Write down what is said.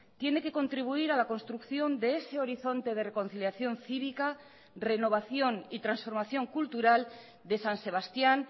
tiene que contribuir a la construcción de ese horizonte de reconciliación cívica renovación y transformación cultural de san sebastián